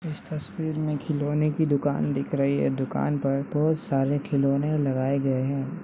इस तस्वीर में खिलौने की दुकान दिख रही है दुकान पर बहुत सारे खिलौने लगाए गए है।